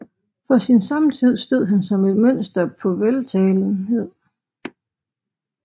For sin samtid stod han som et mønster på veltalenhed